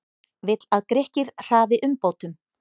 Vill að Grikkir hraði umbótum